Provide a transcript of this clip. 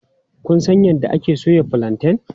Kun san yadda ake soya fulanten?